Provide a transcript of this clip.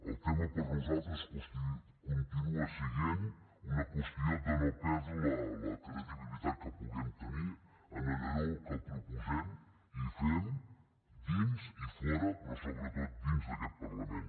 el tema per nosaltres continua sent una qüestió de no perdre la credibilitat que puguem tenir en allò que proposem i fem dins i fora però sobretot dins d’aquest parlament